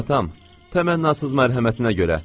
Təmannasız mərhəmətinə görə.